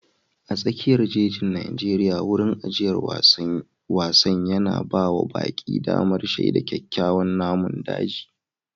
A tsakiyar jejin Najeriya, wurin ajiyar wasan yana ba wa baƙi damar shaida kyawawan namun daji.